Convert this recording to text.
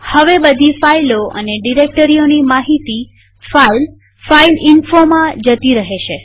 હવે બધી ફાઈલો અને ડિરેક્ટરીઓની માહિતી ફાઈલ fileinfoમાં જતી રહેશે